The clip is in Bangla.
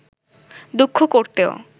দুঃখ করতেও